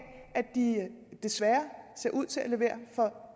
de desværre ser ud til at levere for